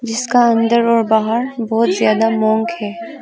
जिसका अंदर और बाहर बहुत ज्यादा मॉन्क है।